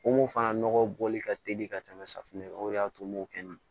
Ko mun fana nɔgɔ bɔli ka teli ka tɛmɛ safinɛ kan o de y'a to n m'o kɛ n na